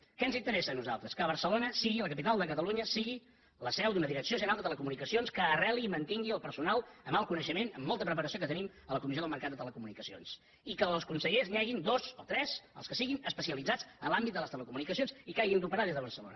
què ens interes·sa a nosaltres que barcelona la capital de catalu·nya sigui la seu d’una direcció general de telecomu·nicacions que arreli i mantingui el personal amb alt coneixement amb molta preparació que tenim a la comissió del mercat de les telecomunicacions i que dels consellers n’hi hagin dos o tres els que siguin es·pecialitzats en l’àmbit de les telecomunicacions i que hagin d’operar des de barcelona